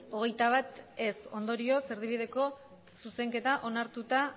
hogeita bat abstentzioak hamar ondorioz erdibideko zuzenketa onartuta